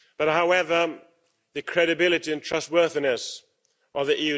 However, the credibility and trustworthiness of the